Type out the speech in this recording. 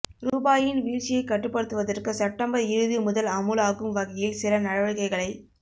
ரூபாயின் வீழ்ச்சியைக் கட்டுப்படுத்துவதற்கு செப்டம்பர் இறுதி முதல் அமுலாகும் வகையில் சில நடவடிக்கைகளை